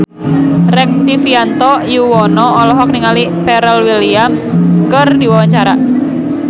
Rektivianto Yoewono olohok ningali Pharrell Williams keur diwawancara